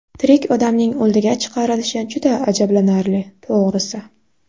Tirik odamning o‘ldiga chiqarilishi juda ajablanarli, to‘g‘risi.